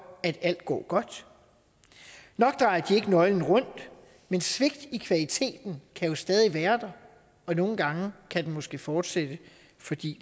at alt går godt nok drejer de ikke nøglen om men svigt i kvaliteten kan jo stadig være der og nogle gange kan den måske fortsætte fordi